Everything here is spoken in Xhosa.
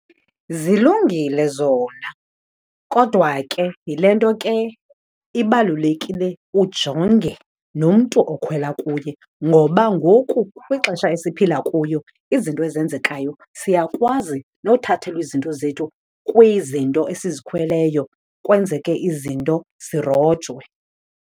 Zilungile zona kodwa ke yile nto ke ibalulekile ujonge nomntu okhwela kuye. ngoba ngoku kwixesha esiphila kuyo izinto ezenzekayo siyakwazi nothathelwa izinto zethu kwizinto esizikhweleyo, kwenzeke izinto, sirojwe.